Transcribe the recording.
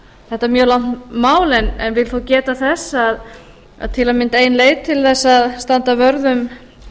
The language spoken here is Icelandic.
þetta mjög langt mál en vil þó geta þess að til að mynda ein leið til þess að standa vörð um